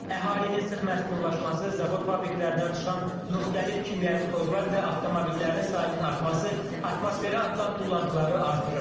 Əhalinin sıx məskunlaşması, zavod fabriklərdən çıxan müxtəlif kimyəvi tozlar və avtomobillərin sayının artması atmosferə atılan tullantıları artırır.